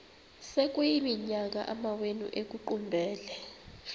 sekuyiminyaka amawenu ekuqumbele